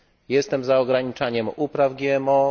Jestem za ograniczaniem upraw GMO.